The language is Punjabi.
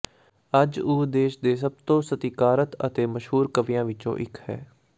ਅੱਜ ਉਹ ਦੇਸ਼ ਦੇ ਸਭ ਤੋਂ ਸਤਿਕਾਰਤ ਅਤੇ ਮਸ਼ਹੂਰ ਕਵੀਆਂ ਵਿੱਚੋਂ ਇੱਕ ਹੈ